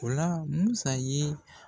O la Musa ye